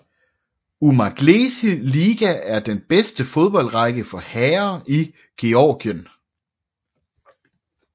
Umaglesi Liga er den bedste fodboldrække for herrer i Georgien